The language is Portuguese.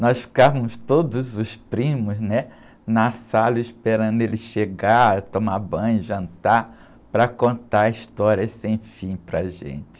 Nós ficávamos todos os primos, né? Na sala esperando ele chegar, tomar banho, jantar, para contar histórias sem fim para a gente.